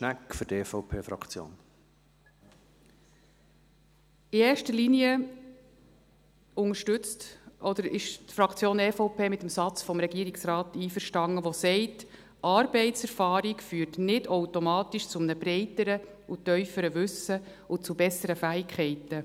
In erster Linie unterstützt oder ist die Fraktion EVP mit dem Satz des Regierungsrates einverstanden, der sagt: Arbeitserfahrung führt nicht automatisch zu einem breiteren und tieferen Wissen und zu besseren Fähigkeiten.